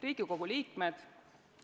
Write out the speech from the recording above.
Riigikogu liikmed!